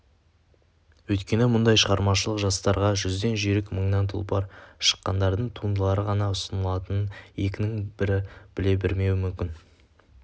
өйткені мұндай шығармашылық жарыстарға жүзден жүйрік мынңан тұлпар шыққандардың туындылары ғана ұсынылатынын екінің бірі біле бермеуі мүмкін